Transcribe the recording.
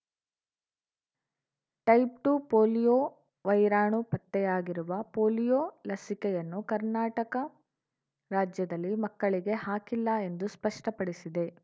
type two polio ವೈರಾಣು ಪತ್ತೆಯಾಗಿರುವ polio ಲಸಿಕೆಯನ್ನು ಕರ್ನಾಟಕ ರಾಜ್ಯದಲ್ಲಿ ಮಕ್ಕಳಿಗೆ ಹಾಕಿಲ್ಲ ಎಂದು ಸ್ಪಷ್ಟಪಡಿಸಿದೆ